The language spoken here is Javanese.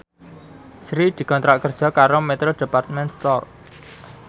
Sri dikontrak kerja karo Metro Department Store